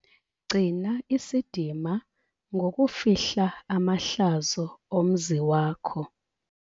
Gcina isidima ngokufihla amahlazo omzi wakho.